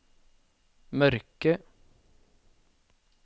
mørke